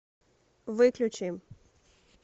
выключи